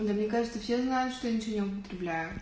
но мне кажется все знают что я ничего не употребляю